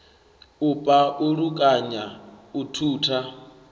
u pa ulukanya u thutha